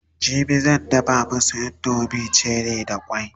jibi zan dafa masu indomin cherie da kwai